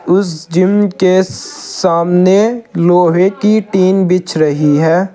उस जिम के स सामने लोहे की टीन बिछ रही है।